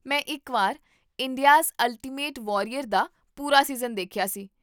ਮੈਂ ਇਕ ਵਾਰ 'ਇੰਡੀਆਜ਼ ਅਲਟੀਮੇਟ ਵਾਰੀਅਰ' ਦਾ ਪੂਰਾ ਸੀਜ਼ਨ ਦੇਖਿਆ ਸੀ